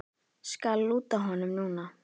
Skal lúta honum núna.